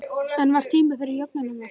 En var tími fyrir jöfnunarmark?